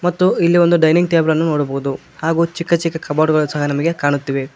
ಮತ್ತು ಇಲ್ಲಿ ಒಂದು ಡೈನಿಂಗ್ ಟೇಬಲನ್ನು ನೋಡಬಹುದು ಹಾಗು ಚಿಕ್ಕ ಚಿಕ್ಕ ಕಬೋರ್ಡ್ಗಳು ಸಹಾ ನಮಗೆ ಕಾಣುತ್ತಿವೆ.